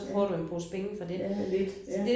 Ja have lidt ja